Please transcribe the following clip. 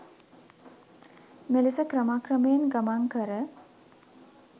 මෙලෙස ක්‍රම ක්‍රමයෙන් ගමන් කර